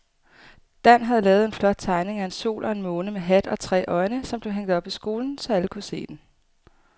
Dan havde lavet en flot tegning af en sol og en måne med hat og tre øjne, som blev hængt op i skolen, så alle kunne se den.